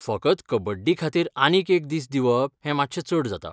फकत कबड्डीखातीर आनीक एक दीस दिवप हें मातशें चड जाता.